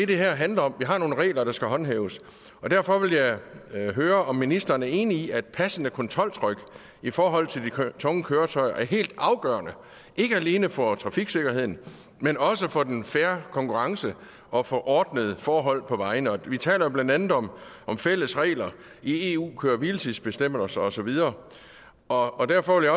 det her handler om vi har nogle regler der skal håndhæves derfor vil jeg høre om ministeren er enig i at et passende kontroltryk i forhold til de tunge køretøjer er helt afgørende ikke alene for trafiksikkerheden men også for den fair konkurrence og for ordnede forhold på vejene vi taler blandt andet om om fælles regler i eu køre hvile tids bestemmelser og så videre og derfor vil